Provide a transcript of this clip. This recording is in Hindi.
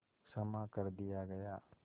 क्षमा कर दिया गया